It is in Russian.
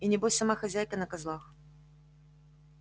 и небось сама хозяйка на козлах